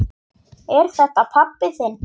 Er þetta pabbi þinn?